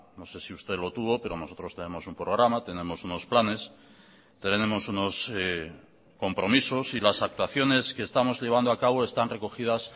no sé si usted lo tuvo pero nosotros tenemos un programa tenemos unos planes tenemos unos compromisos y las actuaciones que estamos llevando acabo están recogidas